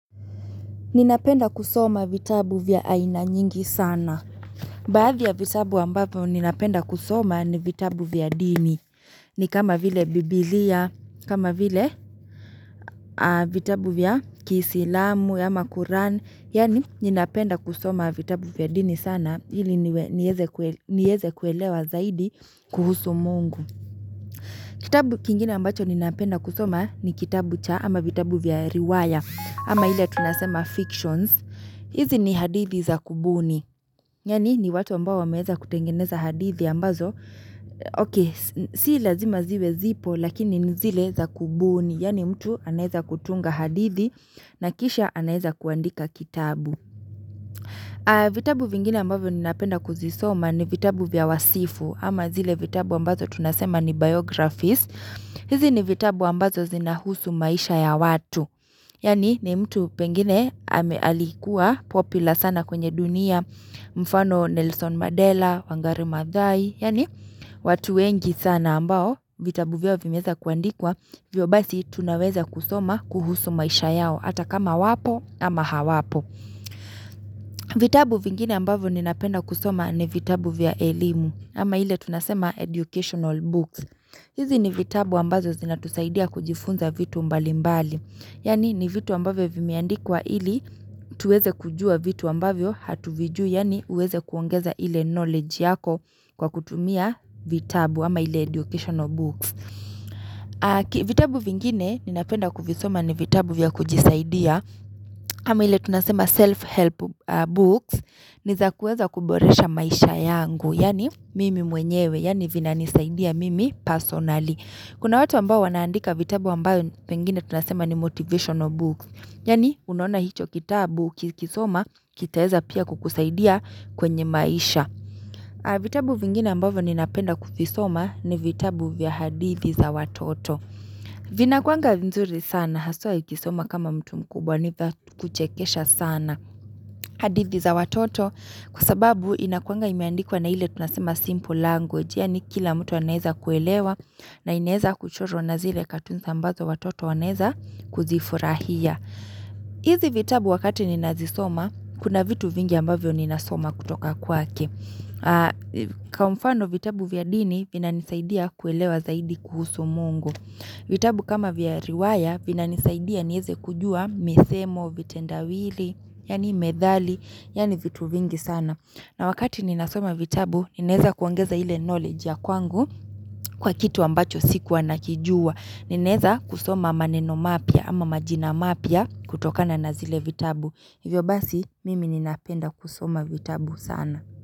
Ninapenda kusoma vitabu vya aina nyingi sana. Baadhi ya vitabu ambavyo ninapenda kusoma ni vitabu vya dini. Ni kama vile biblia, kama vile vitabu vya kiisilamu, ama kuran. Yani ninapenda kusoma vitabu vya dini sana. Ili niweze kuelewa zaidi kuhusu mungu. Kitabu kingine ambacho ninapenda kusoma ni kitabu cha ama vitabu vya riwaya. Ama hile tunasema fictions. Hizi ni hadithi za kubuni yani ni watu ambao wameweza kutengeneza hadithi ambazo ok si lazima ziwe zipo lakini ni zile za kubuni yani mtu anaeza kutunga hadithi na kisha anaweza kuandika kitabu vitabu vingine ambavyo ninapenda kuzisoma ni vitabu vya wasifu ama zile vitabu ambazo tunasema ni biographies hizi ni vitabu ambazo zinahusu maisha ya watu Yani ni mtu pengine ambaealikuwa popular sana kwenye dunia, mfano Nelson Mandela, Wangari Mazai, yani watu wengi sana ambao, vitabu vya vimeweza kuandikwa, hivyo basi tunaweza kusoma kuhusu maisha yao, hata kama wapo ama hawapo. Vitabu vingine ambavyo ninapenda kusoma ni vitabu vya elimu, ama hile tunasema educational books. Hizi ni vitabu ambazo zina tusaidia kujifunza vitu mbali mbali, yani ni vitu ambavyo vimeandikwa ili tuweze kujua vitu ambavyo hatuvijui, yani uweze kuongeza ile knowledge yako kwa kutumia vitabu, ama ile educational books. Vitabu vingine, ninapenda kuvisoma ni vitabu vya kujisaidia, ama ile tunasema self-help books, niza kuweza kuboresha maisha yangu, yani mimi mwenyewe, yani vina nisaidia mimi personally. Kuna watu ambao wanaandika vitabu ambayo pengine tunasema ni motivational book Yani unaona hicho kitabu ukisoma kitaweza pia kukusaidia kwenye maisha vitabu vingine mbavyo ninapenda kuvisoma ni vitabu vya hadithi za watoto Vinakuwaga vizuri sana haswa ukisoma kama mtu mkubwa niza kuchekesha sana hadithi za watoto kwasababu inakuwanga imeandikwa na ile tunasema simple language yani kila mtu anweza kuelewa na inaweza kuchorwa na zile katuni ambazo watoto wanaweza kuzifurahia. Hizi vitabu wakati ninazisoma, kuna vitu vingi ambavyo ninasoma kutoka kwake. Kwamfano vitabu vya dini, vina nisaidia kuelewa zaidi kuhusu mungu. Vitabu kama vya riwaya, vina nisaidia niweze kujua misemo, vitendawili, yani methali, yani vitu vingi sana. Na wakati ninasoma vitabu, ninaweza kuongeza ile knowledge ya kwangu kwa kitu ambacho sikua nakijua. Ninaweza kusoma maneno mapya ama majina mapya kutokana na zile vitabu. Hivyo basi, mimi ninapenda kusoma vitabu sana.